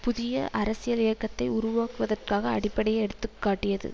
புதிய அரசியல் இயக்கத்தை உருவாக்குவதற்காக அடிப்படையை எடுத்து காட்டியது